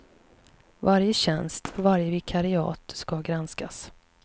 Varje tjänst, varje vikariat ska granskas.